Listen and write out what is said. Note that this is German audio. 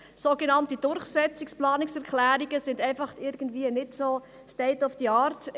Sogenannte «Durchsetzungsplanungserklärungen» sind in einem solchen Prozess einfach irgendwie nicht so State of the Art.